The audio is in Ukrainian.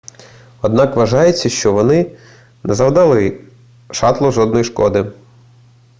однак вважається що вони не завдали шатлу жодної шкоди